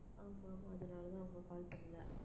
ஆமா, ஆமா அதனாலதான் அவங்க call பண்ணலை